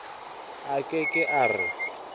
a ke ke a re